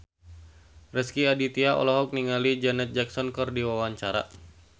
Rezky Aditya olohok ningali Janet Jackson keur diwawancara